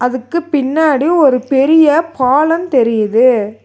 அதுக்கு பின்னாடி ஒரு பெரிய பாலந் தெரியிது.